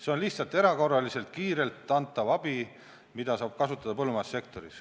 See on lihtsalt erakorraliselt, kiirelt antav abi, mida saab kasutada põllumajandussektoris.